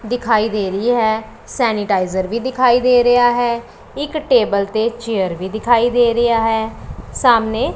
ਦਿਖਾਈ ਦੇ ਰਹੀ ਹੈ ਸੇਨੀਟਾਇਜ਼ਰ ਵੀ ਦਿਖਾਈ ਦੇ ਰਿਹਾ ਹੈ ਇੱਕ ਟੇਬਲ ਤੇ ਚੇਅਰ ਵੀ ਦਿਖਾਈ ਦੇ ਰਿਹਾ ਹੈ ਸਾਹਮਨੇ--